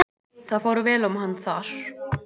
Það fór vel um hann þar.